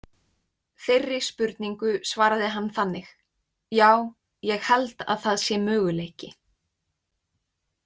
Þeirri spurningu svaraði hann þannig: „Já, ég held að það sé möguleiki“